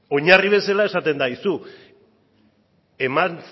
oinarri bezala esaten da aizu eman